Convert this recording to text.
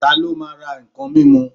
Ta ló máa ra ǹkan mímu.